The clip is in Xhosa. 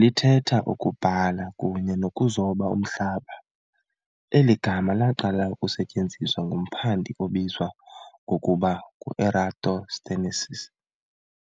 Lithetha "ukubhala kunye nokuzoba umhlaba". eli gama laqala ukusetyenziswa ngumphandi obizwa ngokuba nguEratosthenes,